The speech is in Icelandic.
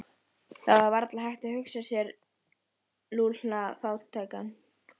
Vonandi hefur afmælisbarnið rænu á að gera lögreglunni viðvart!